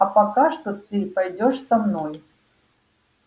а пока что ты пойдёшь со мной